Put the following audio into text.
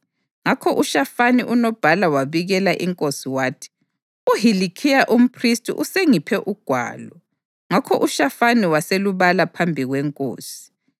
Ngakho uShafani unobhala wabikela inkosi, wathi, “UHilikhiya umphristi usengiphe ugwalo.” Ngakho uShafani waselubala phambi kwenkosi.